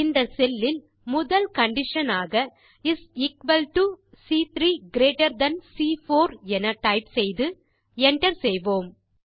இந்த cellலில் முதல் கண்டிஷன் ஆக is equal to C3 greater than சி4 என டைப் செய்து Enter செய்வோம்